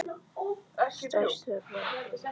Stærsta varpið er í Flatey.